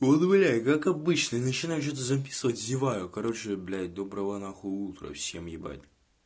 вот блядь как обычно начинаю что-то записывать зеваю короче блядь доброго нахуй утра всем ебать